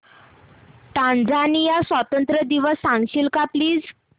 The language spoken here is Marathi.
टांझानिया स्वतंत्रता दिवस सांगशील का प्लीज